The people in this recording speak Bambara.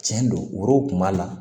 Tiɲɛ don woro kun b'a la